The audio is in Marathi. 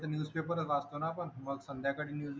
न्यूज पेपर वाचतो ना आपण मग संध्याकाळी